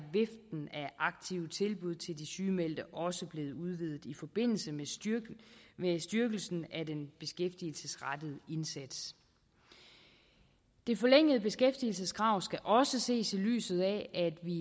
aktive tilbud til de sygemeldte også blevet udvidet i forbindelse med styrkelsen af den beskæftigelsesrettede indsats det forlængede beskæftigelseskrav skal også ses i lyset af at vi